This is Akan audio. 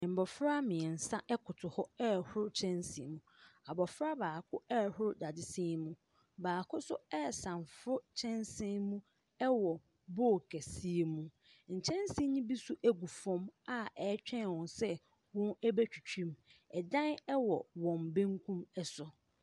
Mmofra mmiɛnsa ɛkoto hɔ ɛhoro kyɛnsen mu abɔfra baako ɛhoro dadesɛn mu baako so ɛsamforo kyɛnsen mu ɛwɔ bool kɛseɛ mu nkyɛnsen no bi so egu fɔm a ɛtwɛn wɔn sɛ wɔn ɛbɛtwitwi mu ɛdan ɛwɔ wɔn benkum ɛso.